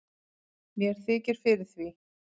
mér þykir fyrir því